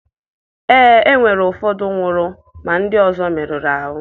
Ee, e nwere. Ụfọdụ nwụrụ ma ndị ọzọ merụrụ ahụ.